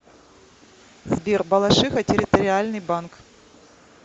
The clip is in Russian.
сбер балашиха территориальный банк